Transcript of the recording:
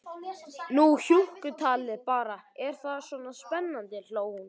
Nú hjúkkutalið bara, er það svona spennandi, hló hún.